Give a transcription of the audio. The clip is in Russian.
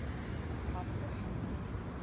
автошина